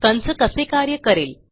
कंस कसे कार्य करेल